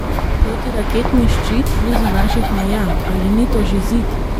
Protiraketni ščit blizu naših meja, ali ni to že zid?